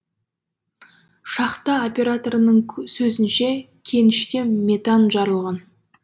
шахта операторының сөзінше кеніште метан жарылған